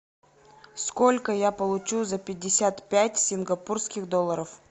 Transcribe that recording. сколько я получу за пятьдесят пять сингапурских долларов